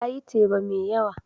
Ta yi teba mai yawa.